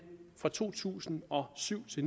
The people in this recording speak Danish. fra to tusind og syv til